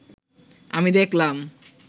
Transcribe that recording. আমি দেখলাম